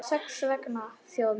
Þess vegna þjóð mín!